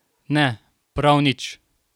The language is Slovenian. Ne, prav nič!